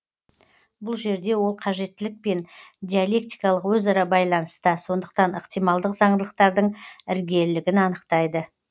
бұл жерде ол қажеттілікпен диалектикалық өзара байланыста сондықтан ықтималдық заңдылықтардың іргелілігін анықтайды